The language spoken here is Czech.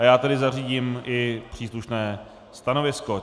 A já tedy zařídím i příslušné stanovisko.